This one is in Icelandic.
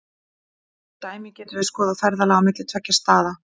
Sem dæmi getum við skoðað ferðalag á milli tveggja staða.